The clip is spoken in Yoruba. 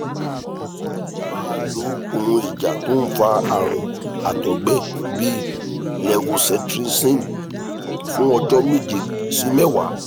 máa lo ohun ìjà tó ń fa àrùn àtọ́gbẹ́ bíi levocetirizine fún ọjọ́ meje si mewa